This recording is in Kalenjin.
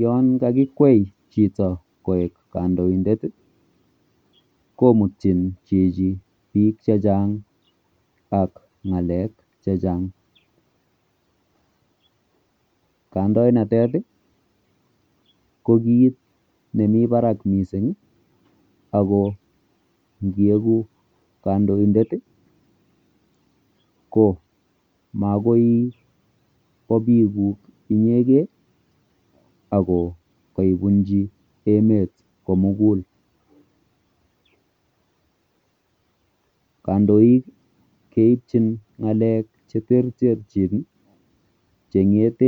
Yoon kakikwai chito koek kandoindet ih komiten chichi bik chechang ak ng'alek chechang kandoinatet ih ko kit ne nemii barak missing ako ngieku kandoindet ih ko makoi ko bikukuk inyegen ih ago kaibunchi emet komugul kandoik keibchin ng'alek cheterchin ih ak